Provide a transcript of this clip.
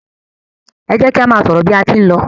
e jẹ ki a má sọrọ bi a tí n ló